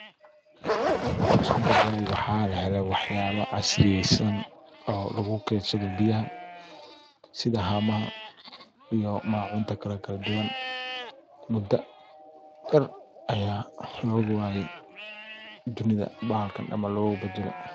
Waxuu isku beddelay waxaa lahele waxyaaba casriyaysan oo lagu keedsado biyaha sida haamaha iyo maacunta kale kala duwan muddo yar aya looga waaye dunida bahalkan ama logu badale.